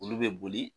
Olu bɛ boli